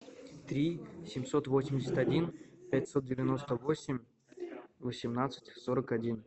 три семьсот восемьдесят один пятьсот девяносто восемь восемнадцать сорок один